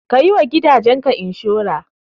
Ka yi wa gidaje ka inshora.